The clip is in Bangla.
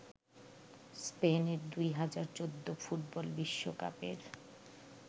স্পেনের ২০১৪ ফুটবল বিশ্বকাপের